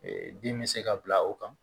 bin bɛ se ka bila o kan